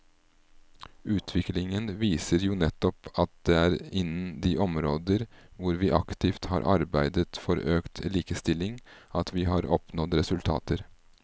Utviklingen viser jo nettopp at det er innen de områder hvor vi aktivt har arbeidet for økt likestilling at vi har oppnådd resultater.